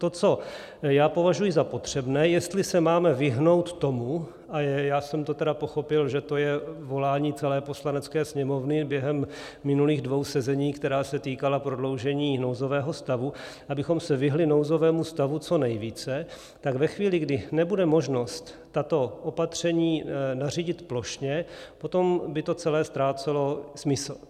To, co já považuji za potřebné, jestli se máme vyhnout tomu, a já jsem to tedy pochopil, že to je volání celé Poslanecké sněmovny během minulých dvou sezení, která se týkala prodloužení nouzového stavu, abychom se vyhnuli nouzovému stavu co nejvíce, tak ve chvíli, kdy nebude možnost tato opatření nařídit plošně, potom by to celé ztrácelo smysl.